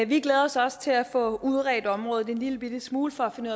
vi glæder os også til at få udredt området en lillebitte smule for at finde